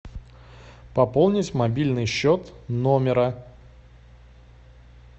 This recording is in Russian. пополнить мобильный счет номера